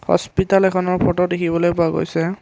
Hospital এখনৰ photo দেখিবলৈ পোৱা গৈছে।